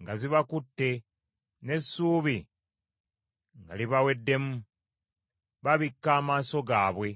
nga zibakutte n’essuubi nga libaweddemu; babikka amaaso gaabwe.